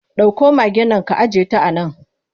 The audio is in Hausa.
Dauko magaen nan ka ajiyeta a nan!